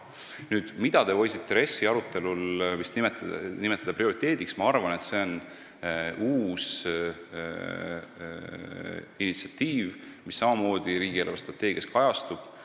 Ma arvan, et te võisite RES-i arutelul nimetada prioriteediks seda uut initsiatiivi, mis samamoodi riigi eelarvestrateegias kajastub.